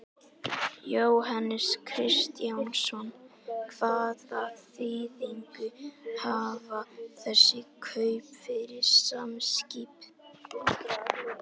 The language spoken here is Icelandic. Jóhannes Kristjánsson: Hvaða þýðingu hafa þessi kaup fyrir Samskip?